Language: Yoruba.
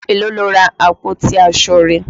Èló lo ra àpótí aṣọ rẹ.